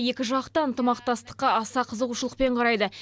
екі жақ та ынтымақтастыққа аса қызығушылықпен қарайды